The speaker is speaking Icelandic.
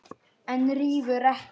En rífur ekki.